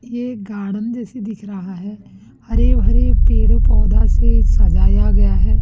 ये गार्डन जैसी दिख रहा है हरे भरे पेड़ पौधा से सजाया गया है।